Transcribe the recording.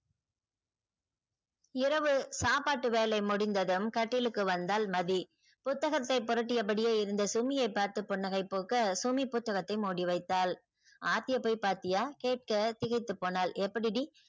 இரவு சாப்பாட்டு வேலை முடிந்ததும் கட்டிலுக்கு வந்தால் மதி புத்தகத்தை புரட்டிய படியே இருந்த சுமியை பார்த்து புன்னகை பூக்க சுமி புத்தகத்தை மூடி வைத்தாள். ஆர்த்திய போய் பாத்தியா கேட்க திகைத்து போனால் எப்படி டி